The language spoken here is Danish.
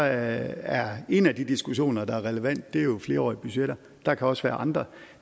er en af de diskussioner der er relevant jo flerårige budgetter der kan også være andre